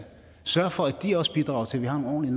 sørge for at de også bidrager til at vi har nogle